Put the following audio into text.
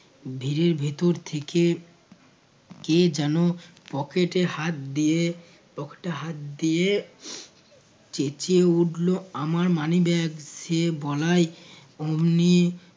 ভীড়ের ভিতর থেকে কে যেন pocket এ হাত দিয়ে pocket এ হাত দিয়ে চেঁচিয়ে উঠল, আমার money bag সে বলায় অমনি